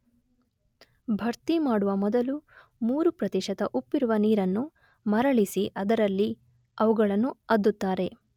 ಭರ್ತಿಮಾಡುವ ಮೊದಲು 3 ಪ್ರತಿಶತ ಉಪ್ಪಿರುವ ನೀರನ್ನು ಮರಳಿಸಿ ಅದರಲ್ಲಿ ಅವುಗಳನ್ನು ಅದ್ದುತ್ತಾರೆ.